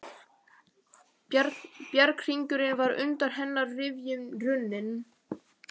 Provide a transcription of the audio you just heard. Bjarghringurinn var undan hennar rifjum runninn.